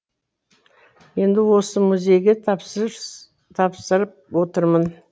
енді осы музейге тапсырып отырмын